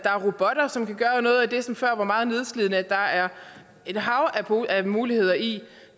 gøre noget af det som før var meget nedslidende der er et hav af muligheder i